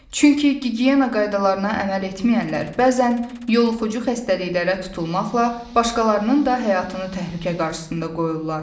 Çünki gigiyena qaydalarına əməl etməyənlər bəzən yoluxucu xəstəliklərə tutulmaqla başqalarının da həyatını təhlükə qarşısında qoyurlar.